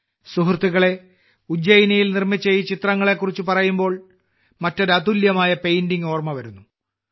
സുഹൃത്തുക്കളേ ഉജ്ജയിനിയിൽ നിർമ്മിച്ച ഈ ചിത്രങ്ങളെ കുറിച്ച് പറയുമ്പോൾ മറ്റൊരു അതുല്യമായ പെയിന്റിംഗ് ഓർമ്മ വരുന്നു